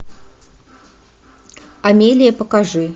амелия покажи